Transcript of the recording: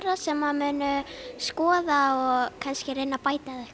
sem munu skoða kannski reyna að bæta eða eitthvað